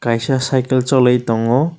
kaisa site o choli tongo.